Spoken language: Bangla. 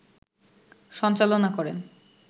সঞ্চালনা করেন